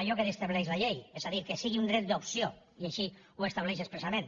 allò que estableix la llei és a dir que sigui un dret d’opció i així ho estableix expressament